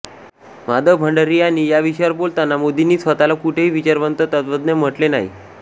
माधव भंडारी यांनी या विषयावर बोलताना मोदींनी स्वतःला कुठेही विचारवंत तत्त्वज्ञ म्हटले नाही